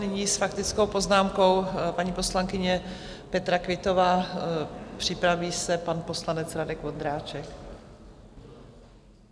Nyní s faktickou poznámkou paní poslankyně Petra Quittová, připraví se pan poslanec Radek Vondráček.